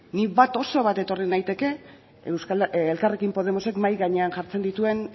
nik bat oso bat ekarri naiteke elkarrekin podemosek mahai gainean jartzen dituen